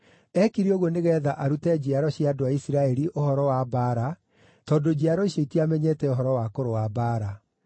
(Eekire ũguo nĩgeetha arute njiaro cia andũ a Isiraeli ũhoro wa mbaara tondũ njiaro icio itiamenyete ũhoro wa kũrũa mbaara).